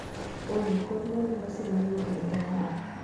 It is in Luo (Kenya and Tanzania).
olly koro mar lwasi mar wigni en ang'o